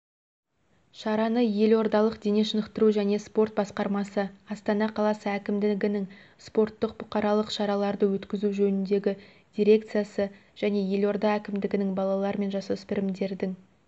шараны елордалық дене шынықтыру және спорт басқармасы астана қаласы әкімдігінің спорттық-бұқаралық шараларды өткізу жөніндегі дирекциясы және елорда әкімдігінің балалар мен жасөспірімдердің